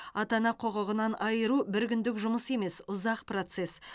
ата ана құқығынан айыру бір күндік жұмыс емес ұзақ процесс